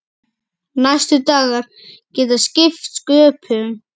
Næstu dagar geta skipt sköpum.